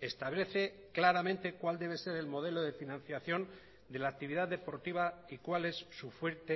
establece claramente cuál debe ser el modelo de financiación de la actividad deportiva y cuál es su fuente